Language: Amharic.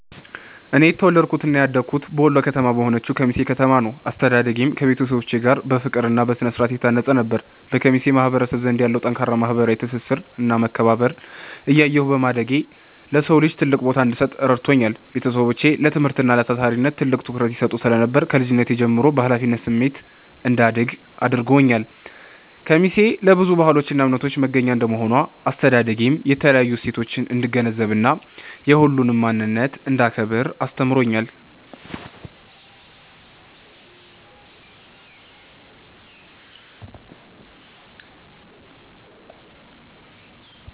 እኔ የተወለድኩትና ያደግኩት በወሎ ከተማ በሆነችው ኬሚሴ ከተማ ነው። አስተዳደጌም ከቤተሰቦቼ ጋር በፍቅርና በስነ-ስርዓት የታነጸ ነበር። በኬሚሴ ማህበረሰብ ዘንድ ያለውን ጠንካራ ማህበራዊ ትስስርና መከባበር እያየሁ በማደጌ፣ ለሰው ልጅ ትልቅ ቦታ እንድሰጥ ረድቶኛል። ቤተሰቦቼ ለትምህርትና ለታታሪነት ትልቅ ትኩረት ይሰጡ ስለነበር፣ ከልጅነቴ ጀምሮ በኃላፊነት ስሜት እንዳድግ አድርገውኛል። ኬሚሴ ለብዙ ባህሎችና እምነቶች መገናኛ እንደመሆኗ፣ አስተዳደጌ የተለያዩ እሴቶችን እንድገነዘብና የሁሉንም ማንነት እንዳከብር አስተምሮኛል።